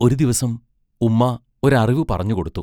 ഒരു ദിവസം ഉമ്മാ ഒരറിവു പറഞ്ഞുകൊടുത്തു.